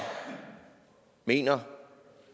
mener